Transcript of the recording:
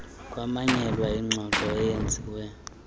kwamanyelwa ingxoxo eyenziwe